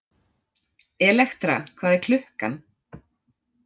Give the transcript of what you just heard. Elektra, hvað er klukkan?